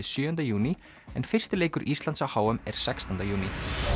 sjöunda júní en fyrsti leikur Íslands á h m er sextánda júní